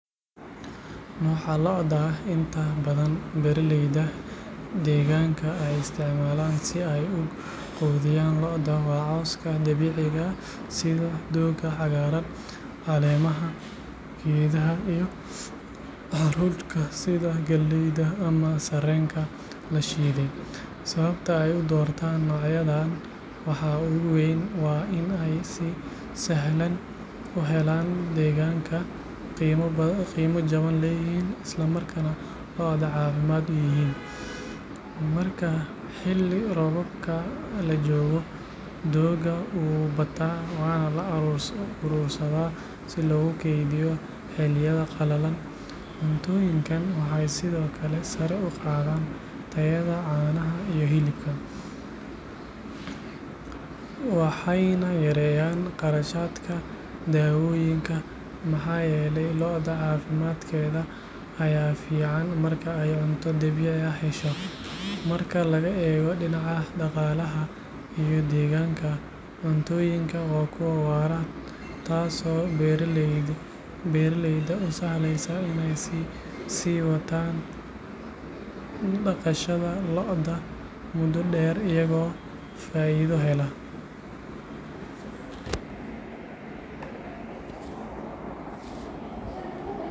Nooca lo’da ee inta badan beeraleyda deegaanka ay isticmaalaan si ay u quudiyaan lo’da waa cawska dabiiciga ah sida doogga cagaaran, caleemaha geedaha iyo hadhuudhka sida galleyda ama sarreenka la shiiday. Sababta ay u doortaan noocyadan waxaa ugu weyn waa in ay si sahlan u helaan deegaanka, qiimo jaban leeyihiin, islamarkaana lo’da caafimaad u yihiin. Marka xilli roobaadka la joogo, doogga wuu bataa waana la urursadaa si loogu kaydiyo xilliyada qalalan. Cuntooyinkan waxay sidoo kale sare u qaadaan tayada caanaha iyo hilibka, waxayna yareeyaan kharashaadka daawooyinka maxaa yeelay lo’da caafimaadkeeda ayaa fiican marka ay cunto dabiici ah hesho. Marka laga eego dhinaca dhaqaalaha iyo deegaanka, cuntooyinkan waa kuwo waara, taasoo beeraleyda u sahlaysa inay sii wataan dhaqashada lo’da muddo dheer iyagoo faa’iido hela.